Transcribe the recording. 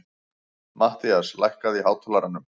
Mattías, lækkaðu í hátalaranum.